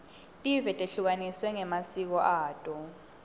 tive tehlukaniswe ngemasiko ato